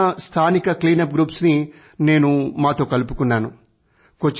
అక్కడ ఉన్న స్థానిక క్లీనప్ గ్రూప్స్ ని నేను మాతో కలుపుకున్నాను